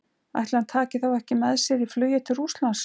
Ætli hann taki þá ekki með sér í flugið til Rússlands?